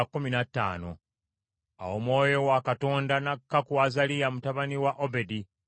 Awo Omwoyo wa Katonda n’akka ku Azaliya mutabani wa Obedi,